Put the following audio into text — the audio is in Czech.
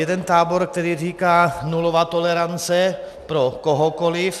Jeden tábor, který říká: Nulová tolerance pro kohokoliv.